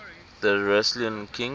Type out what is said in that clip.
thessalian kings